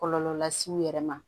Kɔlɔlɔ las'u yɛrɛ ma